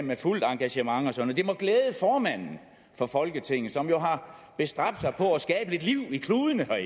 med fuldt engagement og sådan noget det må glæde formanden for folketinget som jo har bestræbt sig på at skabe lidt liv i kludene